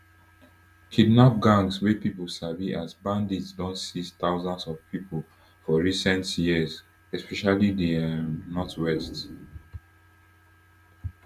kidnap gangs wey pipo sabi as bandits don seize thousands of pipo for recent years especially di um northwest